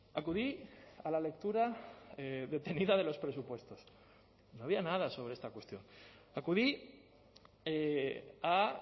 acudí a la lectura detenida de los presupuestos no había nada sobre esta cuestión acudí a